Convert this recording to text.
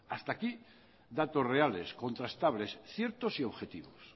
hasta aquí datos reales contrastables ciertos y objetivos